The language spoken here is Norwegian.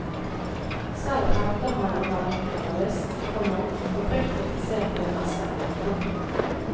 Selv hevder han å være generalist, komma oppriktig interessert i det meste. punktum